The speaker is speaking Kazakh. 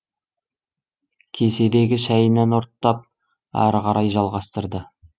кеседегі шәйінен ұрттап ары қарай жалғастырды